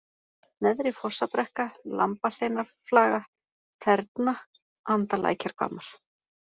Neðri-Fossabrekka, Lambahleinarflaga, Þerna, Andalækjarhvammar